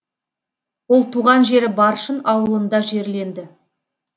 ол туған жері баршын ауылында жерленді